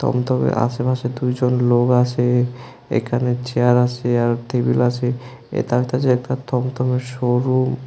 উম তবে আশেপাশে দুইজন লোক আসে এইখানে চেয়ার আসে আর টেবিল আসে এতা হইতাছে একতা তমতমের শোরুম ।